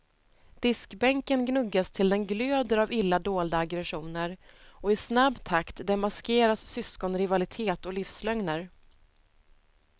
Diskbänken gnuggas till den glöder av illa dolda aggressioner, och i snabb takt demaskeras syskonrivalitet och livslögner.